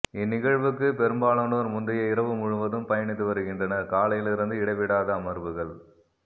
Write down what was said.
இந்நிகழ்வுக்கு பெரும்பாலானோர் முந்தைய இரவு முழுவதும் பயணித்து வருகின்றனர் காலையிலிருந்து இடைவிடாத அமர்வுகள்